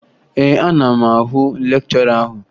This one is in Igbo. Ee, ana m ahụ lekchọra ahụ